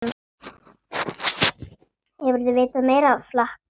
Hefurðu vitað meira flak!